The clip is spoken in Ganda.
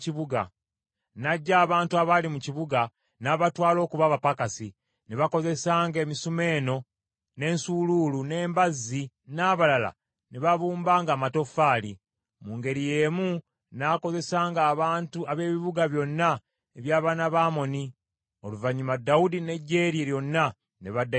N’aggya abantu abaali mu kibuga, n’abatwala okuba abapakasi; ne bakozesanga emisomeeno, n’ensuuluulu, n’embazzi, n’abalala ne babumbanga amatoffaali. Mu ngeri y’emu n’akozesanga abantu ab’ebibuga byonna eby’abaana ba Amoni. Oluvannyuma Dawudi n’eggye lye lyonna, ne baddayo e Yerusaalemi.